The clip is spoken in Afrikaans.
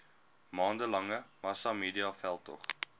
maande lange massamediaveldtog